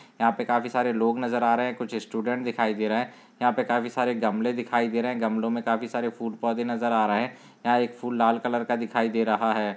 यहाँ पे काफ़ी सारे लोग नज़र आ रहे है कुछ स्टूडंट दिखाई दे रहे है यहा पे काफ़ी सारे गमलें दिखाई दे रहे है गमलों में काफ़ी सारे फूल पौधे नज़र आ रहे है यहा एक फूल लाल कलर का दिखाई दे रहा है।